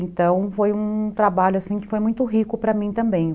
Então, foi um trabalho assim, que foi muito rico para mim também.